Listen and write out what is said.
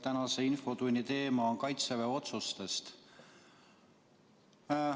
Tänase infotunni teema on Kaitseväe otsused.